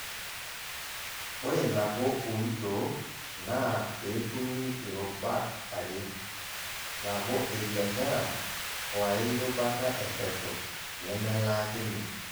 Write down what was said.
Ore nabo oitoo naa peetumi irubat are: nabo e biashara woairubata epesho, nemelaaakini.